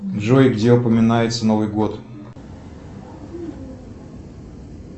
джой где упоминается новый год